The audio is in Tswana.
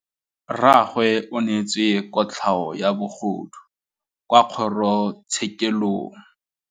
Rragwe o neetswe kotlhaô ya bogodu kwa kgoro tshêkêlông.